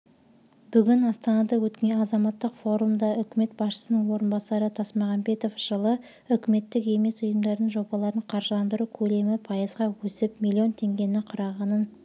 бүгін астанада өткен азаматтық форумда үкімет басшысының орынбасары тасмағамбетов жылы үкіметтік емес ұйымдардың жобаларын қаржыландыру көлемі пайызға өсіп млн теңгені құрағанын